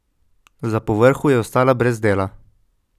Za povrhu je ostala brez dela.